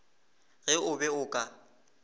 ge o be o ka